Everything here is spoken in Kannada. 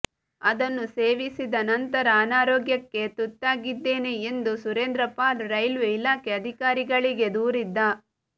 ಅದನ್ನು ಸೇವಿಸಿದ ನಂತರ ಅನಾರೋಗ್ಯಕ್ಕೆ ತುತ್ತಾಗಿದ್ದೇನೆ ಎಂದು ಸುರೇಂದ್ರ ಪಾಲ್ ರೈಲ್ವೇ ಇಲಾಖೆ ಅಧಿಕಾರಿಗಳಿಗೆ ದೂರಿದ್ದ